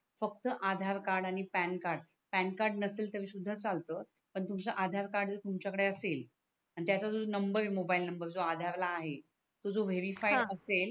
फक्त आधार कार्ड आणि PAN card नसेल तरी सुद्धा चालतो पण तुमच्या आधार कार्ड तुमच्या कडे असेल आणि त्या जो नंबर मोबाईल नंबर जो आधार ला आहे तो जो वेरिफाय असेल हा